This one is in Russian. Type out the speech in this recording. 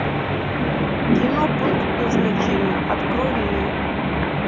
кино пункт назначения открой мне